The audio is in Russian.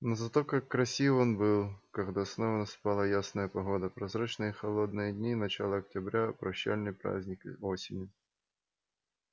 но зато как красив он был когда снова наступала ясная погода прозрачные холодные дни начала октября прощальный праздник и осени